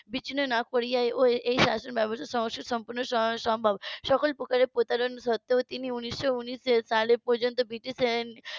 বিচ্ছিন্ন না করিয়া এই শাসনবাবস্থা সংস্কার সম্পূর্ণ রূপে সম্ভব সকল প্রকারের প্রতারণ সত্ত্বেও তিনি উনিশশো উনিশ সালে